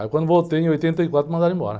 Aí quando voltei em oitenta e quatro, mandaram embora.